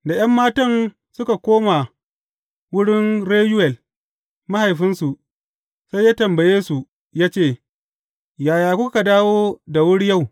Da ’yan matan suka komo wurin Reyuwel mahaifinsu, sai ya tambaye su ya ce, Yaya kuka dawo da wuri yau?